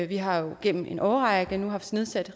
vi har jo gennem en årrække nu haft nedsat